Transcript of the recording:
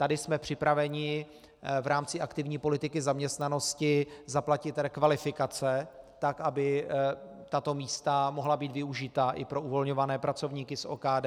Tady jsme připraveni v rámci aktivní politiky zaměstnanosti zaplatit rekvalifikace, tak aby tato místa mohla být využita i pro uvolňované pracovníky z OKD.